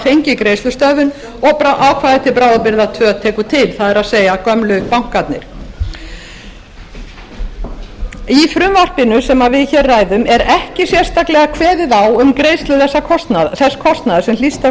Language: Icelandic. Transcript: fengið greiðslustöðvun og ákvæði til bráðabirgða tvö tekur til það er gömlu bankarnir í frumvarpinu sem við hér ræðum er ekki sérstaklega kveðið á um greiðslu þess kostnaðar sem hlýst af